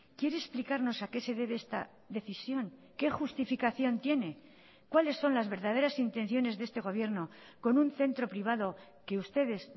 quiere explicarnos a qué se debe esta decisión qué justificación tiene cuáles son las verdaderas intenciones de este gobierno con un centro privado que ustedes